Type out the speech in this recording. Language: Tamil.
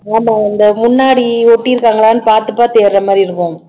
ஆமா முன்னாடி ஒட்டி இருக்காங்களான்னு பாத்து பாத்து ஏறுற மாதிரி இருக்கும்